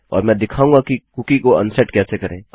और मैं दिखाऊंगा कि कुकी को अनसेट कैसे करें